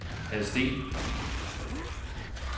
Hadsten